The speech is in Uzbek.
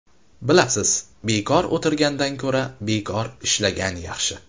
Bilasiz, bekor o‘tirgandan ko‘ra, bekor ishlagan yaxshi.